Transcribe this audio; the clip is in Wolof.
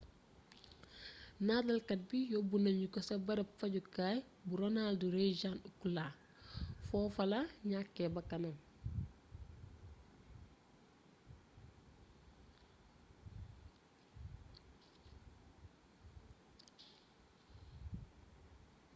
nataalkaat bi yóbu nañu ko ca bërëb fajjukaay bu ronald reagan ucla fofula ñakke bàkkanam